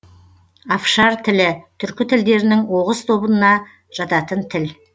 афшар тілі түркі тілдерінің оғыз тобына жататын тіл